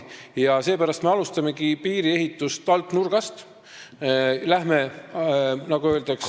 Seepärast me alustamegi piiri ehitust alt nurgast ja läheme, nagu öeldakse ...